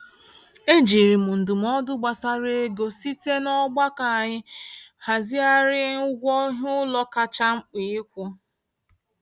E jiri m ndụmọdụ gbasara ego site n'ọgbakọ anyị hazịghari ụgwọ iheụlọ kacha mkpa ịkwụ.